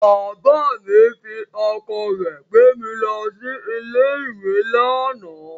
Bàbá mi fi ọkọ̀ rẹ̀ gbé mi lọ sí ilé-ìwé lánàá.